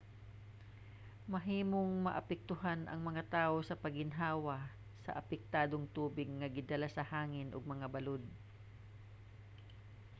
mahimong maapektuhan ang mga tawo sa pag-ginhawa sa apektadong tubig nga gidala sa hangin ug mga balod